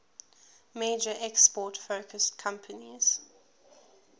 major export focused companies